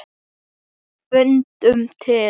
Fundum til.